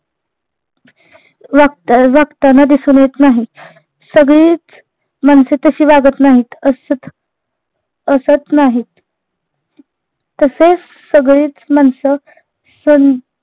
वागता अं वागताना दिसून येत नाही, सगळीच माणसे तशी वागत नाहीत असत असत नाहीत तसेच सगळीच माणस सन